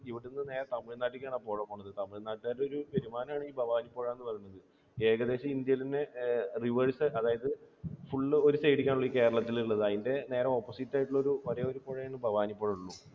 തമിഴ്നാട്ടിലേക്ക് ആണ് ആപുഴ പോകുന്നത്. ഏകദേശം ഇന്ത്യയിലെതന്നെ reverse അതായത് full ഒരു side ലേക്ക് ആണല്ലേ കേരളത്തിലുള്ളത്. അതിന് നേരെ opposite ആയിട്ടുള്ള വലിയൊരു പുഴയാണ് ഭവാനിപ്പുഴ.